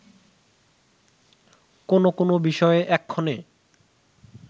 কোন কোন বিষয়ে এক্ষণে